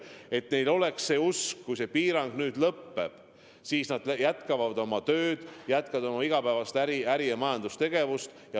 Et neil oleks usk, et kui piirangud lõpevad, siis nad jätkavad oma tööd, et ettevõtted jätkavad oma igapäevast äri- ja majandustegevust.